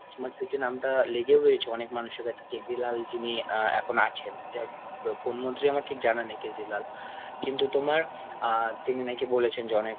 smart city নামটা লেগেও রয়েছে অনেক মানুষের কাছে। কেজরিলাল আহ যিনি এখন আছেন। জা~ আহ কোন মন্ত্রী আমার ঠিক জানা নেই কেজরিলাল । কিন্তু তোমার আহ তিনি নাকি বলেছেন যে অনেক